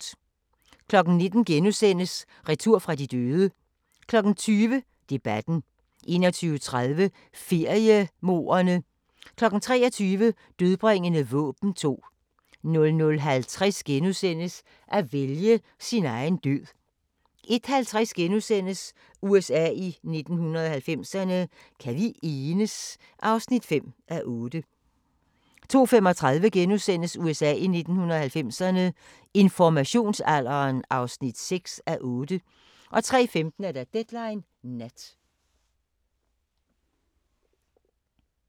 19:00: Retur fra de døde * 20:00: Debatten 21:30: Feriemordene 23:00: Dødbringende våben 2 00:50: At vælge sin egen død * 01:50: USA i 1990'erne – Kan vi enes? (5:8)* 02:35: USA i 1990'erne – Informationsalderen (6:8)* 03:15: Deadline Nat